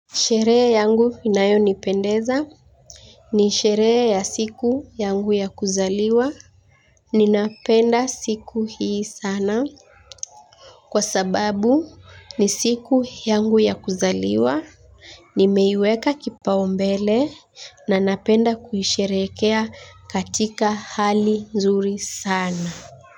Sheree yangu inayo nipendeza. Ni sheree ya siku yangu ya kuzaliwa. Ninapenda siku hii sana. Kwa sababu ni siku yangu ya kuzaliwa. Nimeiweka kipa umbele na napenda kuhisherekea katika hali zuri sana.